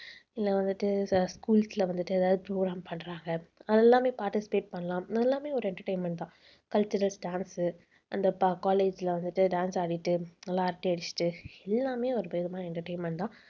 இல்லை வந்துட்டு schools ல வந்துட்டு ஏதாவது program பண்றாங்க. அது எல்லாமே participate பண்ணலாம். அது எல்லாமே ஒரு entertainment தான் cultural dance அந்த ப~ college ல வந்துட்டு dance ஆடிட்டு நல்லா அரட்டை அடிச்சிட்டு எல்லாமே ஒருவிதமான entertainment தான்.